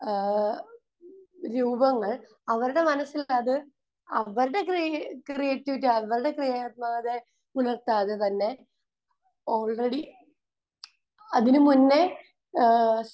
ഏഹ് രൂപങ്ങൾ അവരുടെ മനസ്സിലത് അവരുടെ ക്രി...ക്രീയേറ്റിവിറ്റി അവരുടെ ക്രിയാത്മകതയെ ഉണർത്താതെ തന്നെ ഓൾറെഡി അതിന് മുന്നേ ഏഹ്